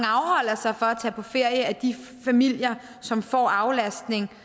af de familier som får aflastning